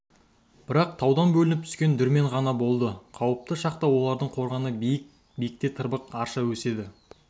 бірақ таудан бөлініп түскен дүрмен ғана болды қауіпті шақта олардың қорғаны биіктік биікте тырбық арша өседі